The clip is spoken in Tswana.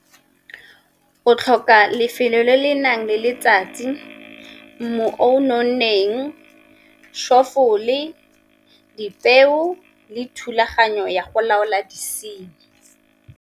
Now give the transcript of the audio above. O tlhoka lefelo le le nang le letsatsi, mmu o nonneng, , dipeo le thulaganyo ya go laola disenyi.